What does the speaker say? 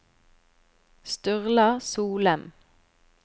Sturla Solem